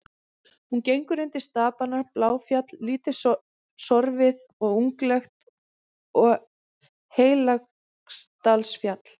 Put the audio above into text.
Hún gengur undir stapana Bláfjall, lítt sorfið og unglegt, og Heilagsdalsfjall.